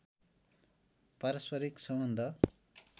पारस्परिक सम्बन्ध